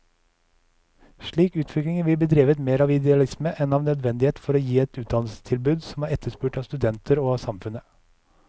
Slik utvikling vil bli drevet mer av idealisme enn av nødvendighet for å gi et utdannelsestilbud som er etterspurt av studenter og av samfunnet.